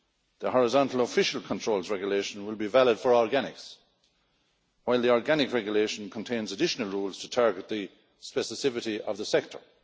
The horizontal Official Controls Regulation will be valid for organics, while the Organic Regulation contains additional rules to target the specificity of the sector.